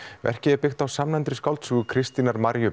verkið er byggt á samnefndri skáldsögu Kristínar